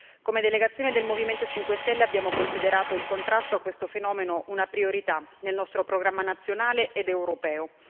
Come delegazione del Movimento 5 Stelle abbiamo considerato il contrasto a questo fenomeno una priorità nel nostro programma nazionale ed europeo.